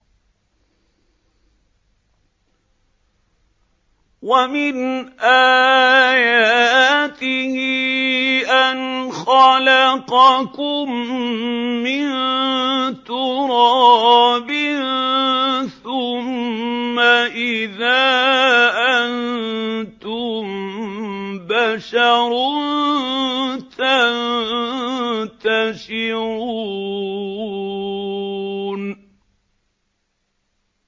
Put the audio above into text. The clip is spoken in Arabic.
وَمِنْ آيَاتِهِ أَنْ خَلَقَكُم مِّن تُرَابٍ ثُمَّ إِذَا أَنتُم بَشَرٌ تَنتَشِرُونَ